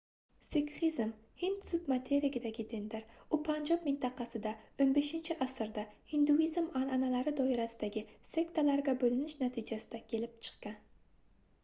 sikxizm hind submaterigidagi dindir u panjob mintaqasida 15-asrda hinduizm anʼanalari doirasidagi sektalarga boʻlinish natijasida kelib chiqqan